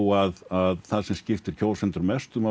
að það sem skiptir kjósendur mestu máli